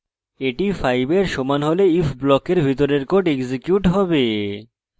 এটি 5 when সমান হলে if ব্লকের ভিতরের code এক্সিকিউট হবে